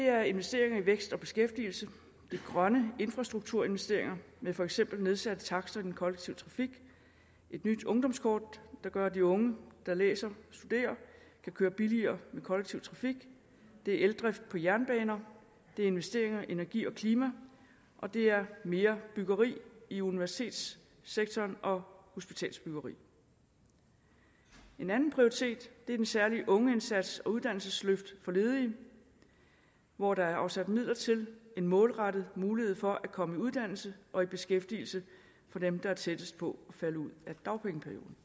er investeringer i vækst og beskæftigelse det er grønne infrastrukturinvesteringer med for eksempel nedsatte takster i den kollektive trafik et nyt ungdomskort der gør at de unge der læser og studerer kan køre billigere med kollektiv trafik det er eldrift på jernbaner det er investeringer i energi og klima og det er mere byggeri i universitetssektoren og hospitalsbyggeri en anden prioritet er den særlige ungeindsats og et uddannelsesløft for ledige hvor der er afsat midler til en målrettet mulighed for at komme i uddannelse og beskæftigelse for dem der er tættest på at falde ud af dagpengeperioden